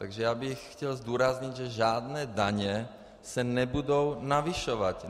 Takže já bych chtěl zdůraznit, že žádné daně se nebudou navyšovat.